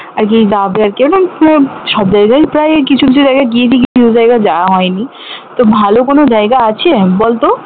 আর গিয়ে সব জায়গাই প্রায় কিছু কিছু জায়গায় গিয়ে দেখি কিছু জায়গা যাওয়া হয়নি তো ভালো কোনো জায়গা আছে বলত